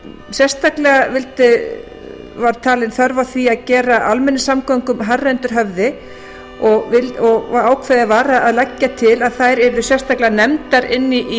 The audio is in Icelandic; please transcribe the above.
sérstaklega var talin þörf á því að gera almenningssamgöngum hærra og ákveðið var að leggja til að þær yrðu sérstaklega nefndar inni í